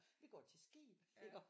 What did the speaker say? Vi går til skib iggå